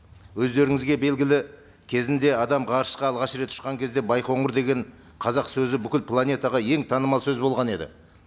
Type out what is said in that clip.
өздеріңізге белгілі кезінде адам ғарышқа алғаш рет ұшқан кезде байқоңыр деген қазақ сөзі бүкіл планетаға ең танымал сөз болған еді